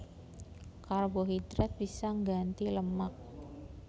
Karbohidrat bisa ngganti lemak